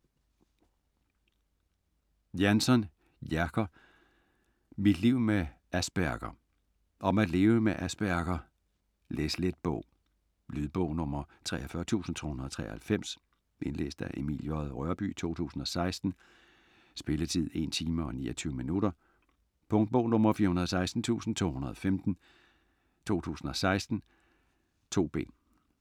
Jansson, Jerker: Mit liv med Asperger Om at leve med Asperger. Læslet bog. Lydbog 43293 Indlæst af Emil J. Rørbye, 2016. Spilletid: 1 timer, 29 minutter. Punktbog 416315 2016. 2 bind.